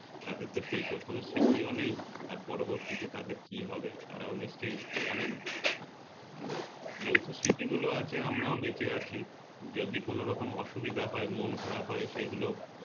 তাদের তো সেই কোন স্মৃতিও নেই আর পরবর্তীতে তাদের কি হবে তারা নিশ্চয় জানে না আর যেহেতু স্মৃতি গুলো আছে আমরাও বেচে আছি যদি কোন রকম অসুবিধা হয় মন খারাপ হয় সেগুলো